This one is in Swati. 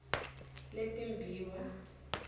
letimbiwa